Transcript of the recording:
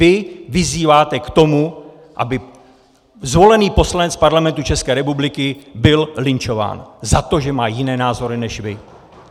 Vy vyzýváte k tomu, aby zvolený poslanec Parlamentu České republiky byl lynčován za to, že má jiné názory než vy!